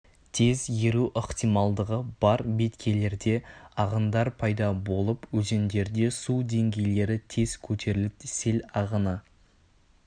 тез еру ықтималдығы бар беткейлерде ағындар пайда болып өзендерде су деңгейлері тез көтеріліп сел ағыны